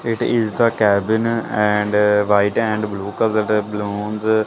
it is the cabin and white and blue colour balloons --